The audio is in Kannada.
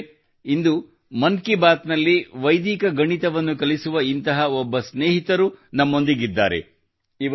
ಸ್ನೇಹಿತರೇ ಇಂದು ಮನ್ ಕಿ ಬಾತ್ ನಲ್ಲಿ ವೈದಿಕ ಗಣಿತವನ್ನು ಕಲಿಸುವ ಇಂತಹ ಒಬ್ಬ ಸ್ನೇಹಿತರು ನಮ್ಮೊಂದಿಗೆ ಇದ್ದಾರೆ